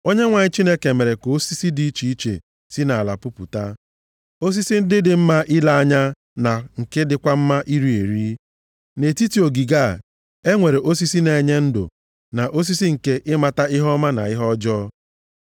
Onyenwe anyị Chineke mere ka osisi dị iche iche si nʼala pupụta, osisi ndị dị mma ile anya na nke dịkwa mma iri eri. Nʼetiti ogige a, e nwere osisi na-enye ndụ, na osisi nke ịmata ihe ọma na ihe ọjọọ.